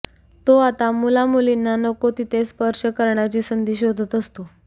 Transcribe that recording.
तो आता मुलामुलींना नको तिथे स्पर्श करण्याची संधी शोधत असतो